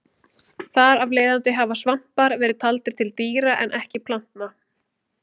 Þar af leiðandi hafa svampar verið taldir til dýra en ekki plantna.